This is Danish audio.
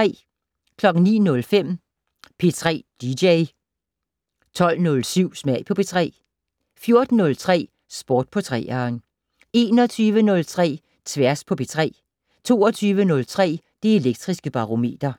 09:05: P3 dj 12:07: Smag på P3 14:03: Sport på 3'eren 21:03: Tværs på P3 22:03: Det Elektriske Barometer